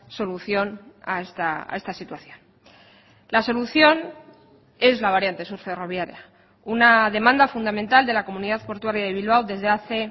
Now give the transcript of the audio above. solución a esta situación la solución es la variante sur ferroviaria una demanda fundamental de la comunidad portuaria de bilbao desde hace